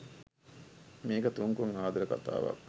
මේක තුන්කොන් ආදර කතාවක්